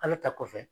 Ale ta kɔfɛ